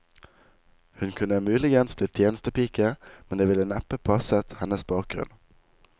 Hun kunne muligens blitt tjenestepike, men det ville neppe passet hennes bakgrunn.